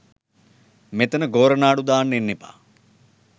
මෙතන ගෝරනාඩු දාන්න එන්න එපා